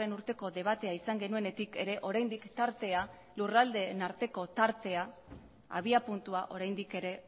urteko debatea izan genuenetik ere oraindik tartea lurraldeen arteko tartea abiapuntua oraindik ere